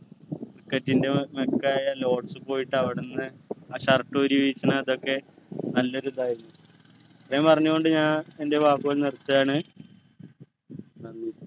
cricket ൻ്റെ ആയ lots പോയിട്ട് അവിടെന്ന് ആ shirt ഊരി വീശുന്ന അതൊക്കെ നല്ലൊരു ഇതായിരുന്നു ഇത്രയും പറഞ്ഞുകൊണ്ട് ഞാൻ എൻ്റെ വാക്കുകൾ നിർത്തുവാണ് നന്ദി